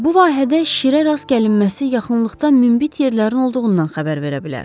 Bu vahədə şirə rast gəlinməsi yaxınlıqda münbit yerlərin olduğundan xəbər verə bilər.